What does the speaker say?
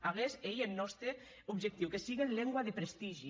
aguest ei eth nòste objectiu que siguen lengua de prestigi